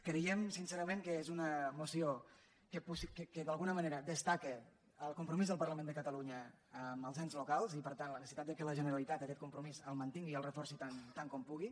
creiem sincerament que és una moció que d’algu·na manera destaca el compromís del parlament de catalunya amb els ens locals i per tant la neces·sitat que la generalitat aquest compromís el man·tingui i el reforci tant com pugui